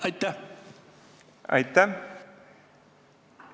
Aitäh!